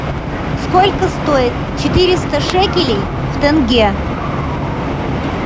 сколько стоит четыреста шекелей в тенге